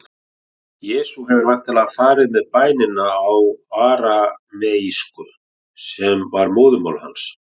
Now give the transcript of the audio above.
Jesús hefur væntanlega farið með bænina á arameísku, sem var móðurmál hans.